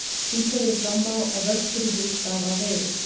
Sýnt hefur verið fram á, að vörtur í húð stafa af veirum.